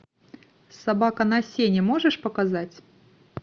собака на сене можешь показать